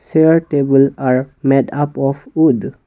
chair table are made up of wood.